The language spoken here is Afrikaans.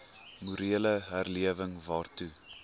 morele herlewing waartoe